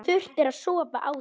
Þurfti að sofa á því.